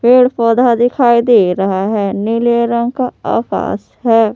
पेड़ पौधा दिखाई दे रहा है नीले रंग का आकाश है ।